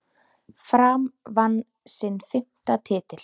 Fram vann sinn fimmta titil.